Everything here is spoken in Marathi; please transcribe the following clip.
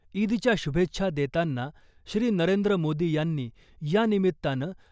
ईदच्या शुभेच्छा देताना श्री . नरेंद्र मोदी यांनी यानिमित्तानं